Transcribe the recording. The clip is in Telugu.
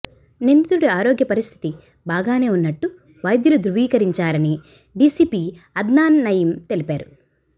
నిందితుడి ఆరోగ్య పరిస్థితి బాగానే ఉన్నట్టు వైద్యులు ధ్రువీకరించారని డీసీపీ అద్నాన్ నయీం తెలిపారు